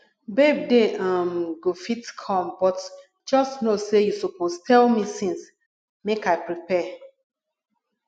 babe dey um go fit come but just no say you suppose tell me since make i prepare